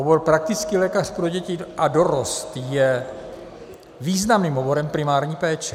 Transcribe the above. Obor praktický lékař pro děti a dorost je významným oborem primární péče.